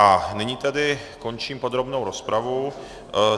A nyní tedy končím podrobnou rozpravu.